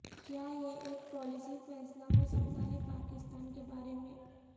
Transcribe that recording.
کیا یہ ایک پالیسی فیصلہ ہو سکتا ہے پاکستان کے بارے میں